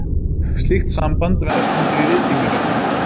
Slíkt samband stendur í viðtengingarhætti.